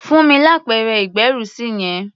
Fún mi lápẹ̀rẹ̀ ìgbẹ́rùsí yẹn!